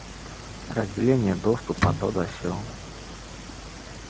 разделение доступа то да сё